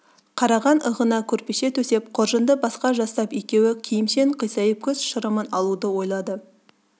қараған ығына көрпеше төсеп қоржынды басқа жастап екеуі киімшең қисайып көз шырымын алуды ойлады